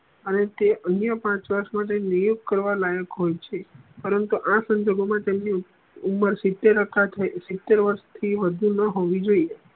આવે તે એને પણ પાંચ વર્ષ માટે નિયુક્ત કરવા લાયક હોય છે પરંતુ આ સંજોગો મા તેમની ઉમર સિત્તેર અથવા કે સિત્તેર વર્ષ થી વધુ ન હોયી જોયીયે